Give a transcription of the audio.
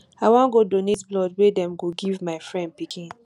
i wan go donate blood wey dem go give my friend pikin